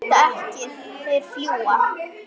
Þeir velta ekki, þeir fljúga.